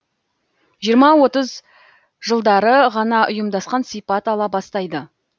жиырма отыз жылдары ғана ұйымдасқан сипат ала бастайды